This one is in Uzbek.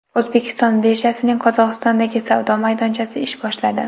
O‘zbekiston birjasining Qozog‘istondagi savdo maydonchasi ish boshladi.